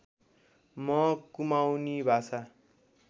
म कुमाउनी भाषा